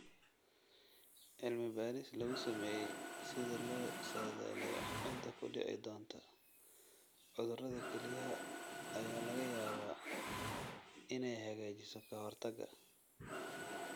Cilmi-baadhis lagu sameeyo sida loo saadaaliyo cidda ku dhici doonta cudurrada kelyaha ayaa laga yaabaa inay hagaajiso ka-hortagga.